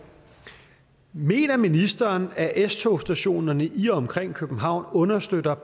mener ministeren at s togsstationerne i og omkring københavn understøtter